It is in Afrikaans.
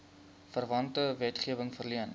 verwante wetgewing verleen